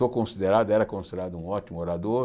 Sou considerado, era considerado um ótimo orador.